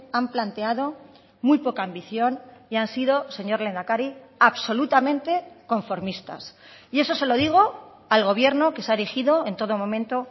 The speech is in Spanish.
han planteado muy poca ambición y han sido señor lehendakari absolutamente conformistas y eso se lo digo al gobierno que se ha erigido en todo momento